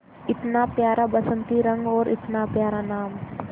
इतना प्यारा बसंती रंग और इतना प्यारा नाम